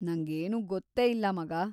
ನಂಗೇನೂ ಗೊತ್ತೇ ಇಲ್ಲ, ಮಗಾ.